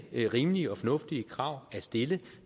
rimelige og fornuftige krav at stille